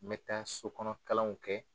N bɛ taa sokɔnɔkalanw kɛ